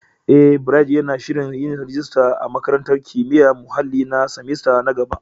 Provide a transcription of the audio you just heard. Eh, Bright yana shirin yin rajista a Makarantar Kimiyyar Muhalli na semester na gaba.